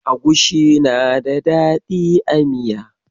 Agushi na da dadi a miya.